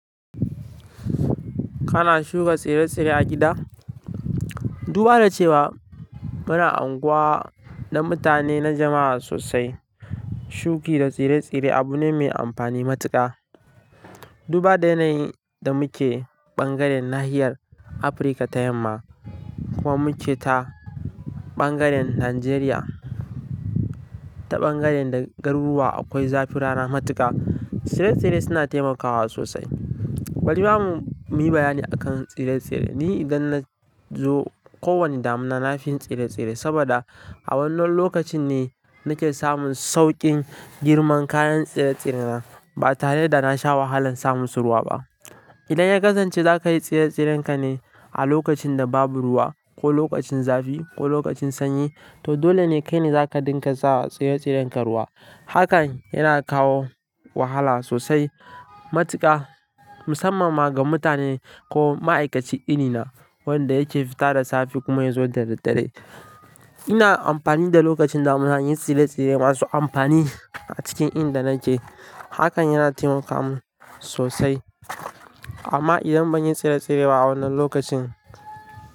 Kana shuka tsire-tsire a gida? Duba da cewa muna anguwa na mutane, na jama'a sosai. Shuki da tsire-tsire abu ne mai amfani matuƙa. Duba da yanayin da muke ɓangaren nahiyar Afirka ta yamma, kuma muke ta ɓangaren Nijeriya, ta ɓangaren da garuruwa akwai zafi rana matuƙa, tsire-tsire suna taimakawa sosai. Bari mamu mu yi bayani akan tsire-tsire. Ni idan na zo kowane damina, nafiyi tsire-tsire, saboda a wannan lokacin ne nake samun sauƙin girman kayan tsire-tsirena, ba tare da na sha wahalan samusu ruwa ba. Idan ya kasance za ka yi tsire-tsirenka ne a lokacin da babu ruwa, ko lokacin zafi, ko lokacin sanyi, to dole ne kai ne za ka dinga sa tsire-tsirenka ruwa. Hakan yana kawo wahala sosai matuƙa, musamman ma ga mutane ko ma'aikaci irina, wanda yake fita da safe kuma ya zo da daddare. Ina amfani da lokacin damina in yi tsire-tsire masu amfani a cikin inda nake. Hakan yana taimaka min sosai. Amma idan ban yi tsire-tsire ba a wannan lokacin.